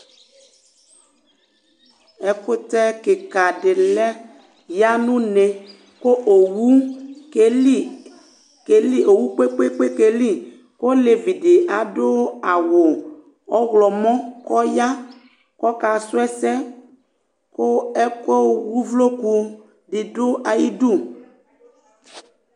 Ɛkutɛ kika di lɛ yanu uné, ku owu kpekpe kéli Olevidi adu awu ɔwlɔ mɔ kɔ ya kɔ ka su ɛsɛ, ku ɛku uʋloku di du ayidu